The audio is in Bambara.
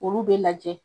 Olu bɛ lajɛ